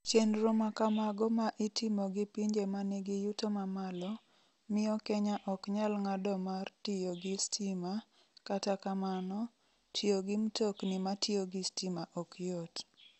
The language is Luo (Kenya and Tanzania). Chenro ma kamago ma itimo gi pinje ma nigi yuto mamalo, miyo Kenya ok nyal ng'ado mar tiyo gi stima, kata kamano, tiyo gi mtokni matiyo gi stima ok yot.